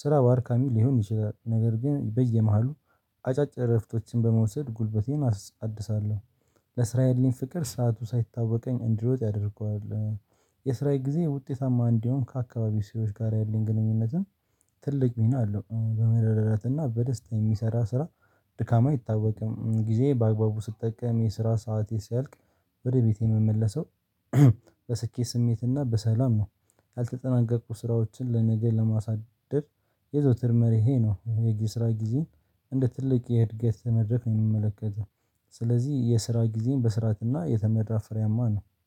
ስራ አድካሚ ሊሆን ይችላል፤ ነገር ግን በየመሐሉ አጫጭር ዕረፍቶችን በመውሰድ ጉልበቴን አድሳለሁ። ለስራ ያለኝ ፍቅር ሰዓቱ ሳይታወቀኝ እንዲሮጥ ያደርገዋል። የሥራዬ ጊዜ ውጤታማ፣ እንዲሁም ከአካባቢ ሰዎች ጋር ያለኝ ግንኙነት ትልቅ ሚና አለው፤ በመረዳዳት እና በደስታ የሚሰራ ስራ ድካሙ አይታወቅም። ጊዜዬን በአግባቡ ስጠቀም፣ የስራ ሰዓት ሲያልቅ ወደ ቤቴ የምመለሰው በስኬት ስሜት እና በሰላም ነው። ያልተጠናቀቁ ስራዎችን ለነገ አለማሳደር የዘወትር መርሆዬ ይህ ነው። የጊዜ ስራ ጊዜን እንደ ትልቅ የዕድገት መድረክ ነው የምመለከተው፤ ስለዚህ የስራ ጊዜዬ በስርዓት የተመራና ፍሬያማ ነው።